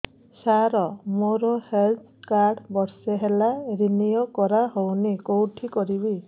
ସାର ମୋର health card ବର୍ଷେ ହେଲା ରିନିଓ କରା ହଉନି କଉଠି କରିବି